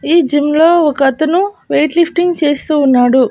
ఈ జిమ్ లో ఒకతను వెయిట్ లిఫ్టింగ్ చేస్తూ ఉన్నాడు.